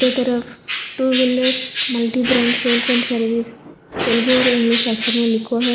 तरफ two wheeler multi brand sales and service Telugu और English अक्षर में लिखो है।